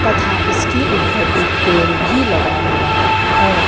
तथा इसके ऊपर एक पेड़ भी लगा हुआ है।